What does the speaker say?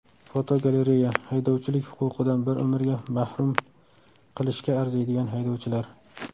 Fotogalereya: Haydovchilik huquqidan bir umrga mahrum qilishga arziydigan haydovchilar.